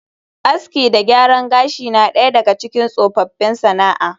Aski da gyaran gashi na daya daga cikin tsofaffin sana’a